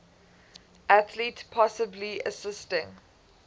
athlete possibly assisting